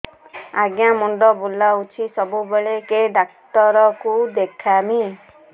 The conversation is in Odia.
ଆଜ୍ଞା ମୁଣ୍ଡ ବୁଲାଉଛି ସବୁବେଳେ କେ ଡାକ୍ତର କୁ ଦେଖାମି